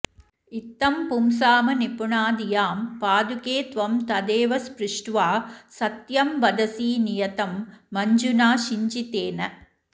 इत्थं पुंसामनिपुणधियां पादुके त्वं तदेव स्पृष्ट्वा सत्यं वदसि नियतं मञ्जुना शिञ्जितेन